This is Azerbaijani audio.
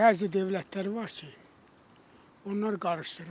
Bəzi dövlətlər var ki, onlar qarışdırırlar.